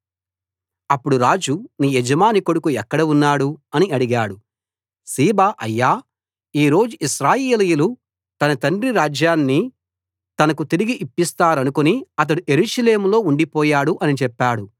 అప్పుడు రాజు నీ యజమాని కొడుకు ఎక్కడ ఉన్నాడు అని అడిగాడు సీబా అయ్యా ఈరోజు ఇశ్రాయేలీయులు తన తండ్రి రాజ్యాన్ని తనకు తిరిగి ఇప్పిస్తారనుకుని అతడు యెరూషలేములో ఉండిపోయాడు అని చెప్పాడు